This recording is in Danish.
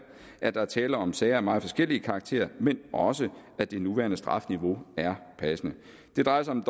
at der er tale om sager af meget forskellig karakter men også at det nuværende strafniveau er passende det drejer sig om